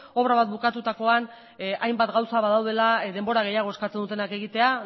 obra bat bukatutakoan hainbat gauza badaudela denbora gehiago eskatzen dutenak egitea